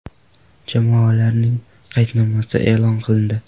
Jamoalarning qaydnomasi e’lon qilindi.